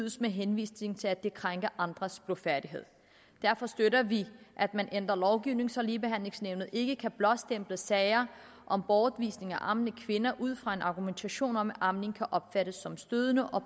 med henvisning til at det krænker andres blufærdighed derfor støtter vi at man ændrer lovgivningen så ligebehandlingsnævnet ikke kan blåstemple sager om bortvisning af ammende kvinder ud fra en argumentation om at amning kan opfattes som stødende og